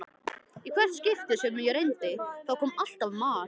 Í hvert skipti sem ég reyndi, þá kom alltaf mar